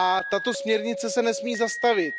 Tato směrnice se nesmí zastavit.